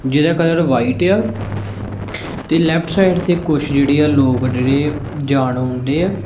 ਜਿਹਦਾ colour white ਏ ਆ ਤੇ ਲੇਫ਼੍ਟ ਸਾਈਡ ਤੇ ਕੁਛ ਜਿਹੜੇ ਆ ਲੋਕ ਜਿਹੜੇ ਜਾਣ ਊਣ ਡਏ ਆ।